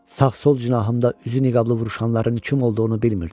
Sağ-sol cinahımda üzü niqablı vuruşanların kim olduğunu bilmirdim.